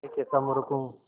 मैं कैसा मूर्ख हूँ